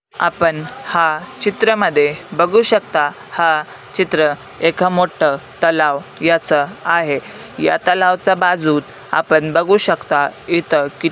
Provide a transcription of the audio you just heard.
आपण हा चित्रामध्ये बघू शकता हा चित्र एका मोठ तलाव याच आहे या तलाव च्या बाजूत आपण बघू शकताव इथे कि--